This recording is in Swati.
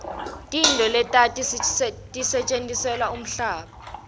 tintfo letati setjentiselwa kimhamba